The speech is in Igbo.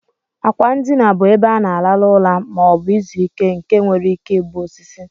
Akwa ndina bu ebe ana alarụ ụra ma obu izu ike nke nwere ike ibu osisi.